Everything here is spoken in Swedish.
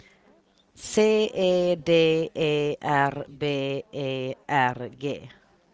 C E D E R B E R G